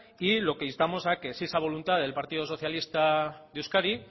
y lo que instamos a que si esa voluntad del partido socialista de euskadi